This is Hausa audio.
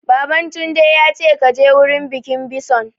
Baban Tunde ya ce 'Ka je wurin bikin bison'!